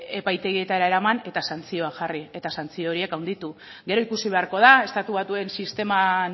epaitegietara eraman eta santzioak jarri eta santzio horiek handitu gero ikusi beharko da estatu batuen sisteman